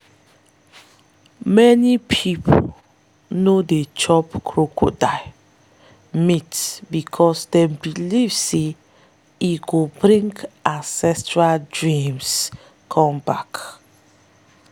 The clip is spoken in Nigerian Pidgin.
many people no dey chop crocodile meat because them believe say e go bring ancestral dreams come back.